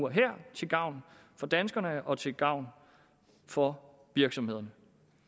til gavn for danskerne og til gavn for virksomhederne